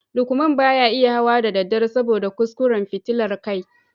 Lukman ba ya iya hawa da daddare saboda kuskuren fitilar kai